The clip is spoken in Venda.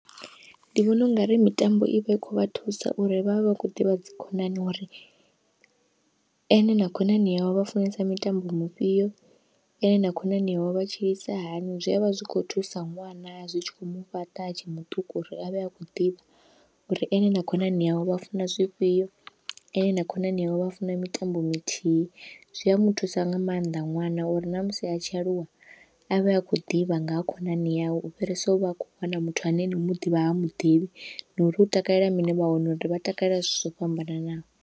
Ndi vhona ungari mitambo ivha i kho vha thusa uri vhavhe vha khou ḓivha dzi khonani, uri ene na khonani yawe vha funesa mitambo mifhio ene na khonani yawe vha tshilisa hani zwi avha zwi kho thusa ṅwana zwi tshi kho mufhaṱa atshe muṱuku uri avhe akho ḓivha, uri ene na khonani yawe vha funa zwifhio ene na khonani yawe vha funa mitambo mithihi, zwi a muthusa nga maanḓa ṅwana uri namusi a tshi aluwa avhe akho ḓivha nga ha khonani yawe, u fhirisa u vha a khou wana muthu ane nau muḓivha ha muḓivhi na uri u takalela mini wa wana uri vha takale zwithu zwo fhambananaho.